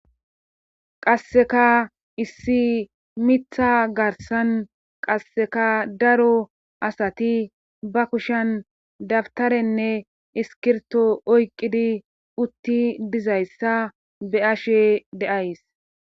Qasseka issi mitha garsan qasseka daro asati ba kushen dabtarenne iskirto oyqqidi utti dizayssa be ashe deays.